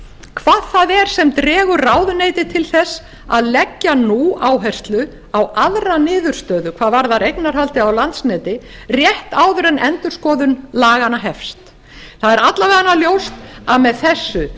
hvað það er sem dregur ráðuneytið til þess leggja nú áherslu á aðra niðurstöðu hvað varðar eignarhaldið á landsneti rétt áður en endurskoðun laganna hefst það er alla vega ljóst að með þessu